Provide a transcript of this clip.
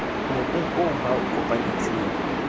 mobung oo ba o kopanetseng